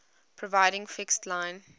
providing fixed line